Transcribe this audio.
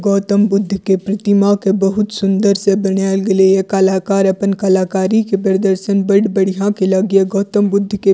गौतम बुद्ध के प्रतिमा के बहुत सुन्दर से बनाएल गेलइ हे कलाकार अपन कलाकारी के प्रदर्शन बड़ बढ़िया केलै गे गौतम बुद्ध के --